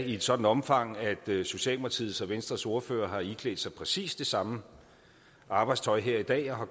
i et sådant omfang at socialdemokratiets og venstres ordførere har iklædt sig præcis det samme arbejdstøj her i dag og har